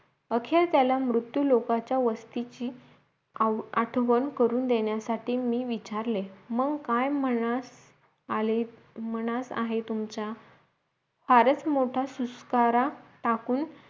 आखेर त्याला मृत्यू लोकाच्या वस्तीची आव आठवण करून देण्यासाठी मी विचारले मग काय म्हणाल मनास आहे तुमचा फारच मोठा सुस्कारा टाकून